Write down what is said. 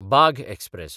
Bagh express